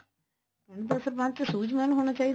ਪਿੰਡ ਦਾ ਸਰਪੰਚ ਸੁਝਵਾਨ ਹੋਣਾ ਚਾਹੀਦਾ